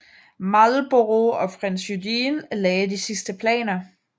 Marlborough og prins Eugen lagde de sidste planer